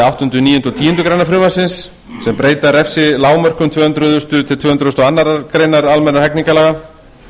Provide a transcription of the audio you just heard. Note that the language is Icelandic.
tíundu greinar frumvarpsins sem breyta refsilágmörkum tvö hundruð tvö hundruð og fyrsta og tvö hundruð og aðra grein almennra hegningarlaga